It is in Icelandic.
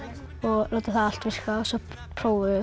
og láta það allt virka svo prófuðum